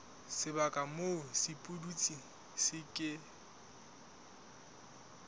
sebaka moo sepudutsi se ke